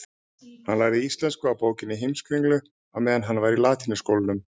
Hann lærði íslensku af bókinni Heimskringlu á meðan hann var í latínuskólanum.